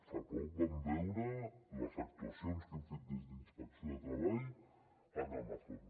fa poc vam veure les actuacions que hem fet des d’inspecció de treball a amazon